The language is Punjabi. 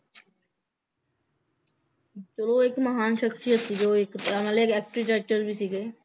ਚਲੋ ਇੱਕ ਮਹਾਨ ਸ਼ਖਸ਼ੀਅਤ ਸੀਗੇ ਉਹ ਇੱਕ ਤੇ ਨਾਲੇ ਇੱਕ architecture ਵੀ ਸੀਗੇ